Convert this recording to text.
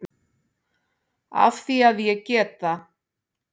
Af því að ég get það.